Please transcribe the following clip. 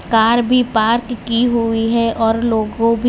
car भी park की हुई है और लोगों भी--